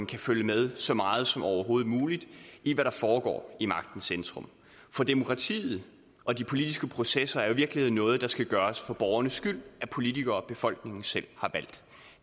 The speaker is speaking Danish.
kan følge med så meget som overhovedet muligt i hvad der foregår i magtens centrum for demokratiet og de politiske processer er i virkeligheden noget der skal gøres for borgernes skyld af politikere befolkningen selv